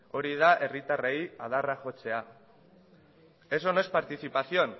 hori da herritarrei adarra jotzea eso no es participación